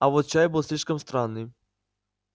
а вот чай был слишком странный